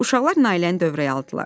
Uşaqlar Nailəni dövrəyə aldılar.